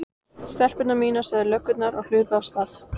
Stelpur mínar sögðu löggurnar og hlupu af stað.